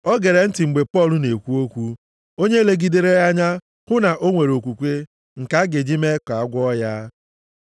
O gere ntị mgbe Pọl na-ekwu okwu. Onye legidere ya anya hụ na ọ nwere okwukwe nke a ga-eji mee ka a gwọọ ya,